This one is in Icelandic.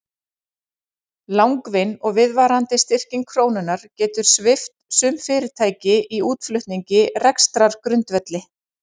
Langvinn og viðvarandi styrking krónunnar getur svipt sum fyrirtæki í útflutningi rekstrargrundvelli.